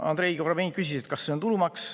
Andrei Korobeinik küsis, kas see on tulumaks.